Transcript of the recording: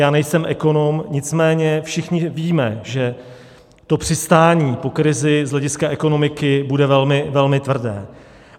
Já nejsem ekonom, nicméně všichni víme, že to přistání po krizi z hlediska ekonomiky bude velmi tvrdé.